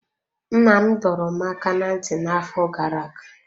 Nna m dọrọ m aka ná ntị n'afọ gara aga.